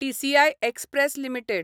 TCI express limited